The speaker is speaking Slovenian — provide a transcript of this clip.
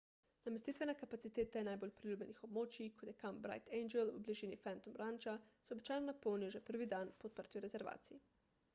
namestitvene kapacitete najbolj priljubljenih območij kot je kamp bright angel v bližini phantom rancha se običajno napolnijo že prvi dan po odprtju rezervacij